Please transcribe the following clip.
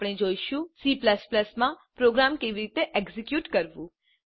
હવે આપણે જોઈશું C માં પ્રોગ્રામ કેવી રીતે એક્ઝીક્યુટ કરવું